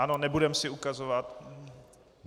Ano, nebudeme si ukazovat.